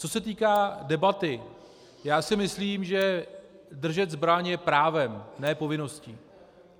Co se týká debaty, já si myslím, že držet zbraň je právem, ne povinností.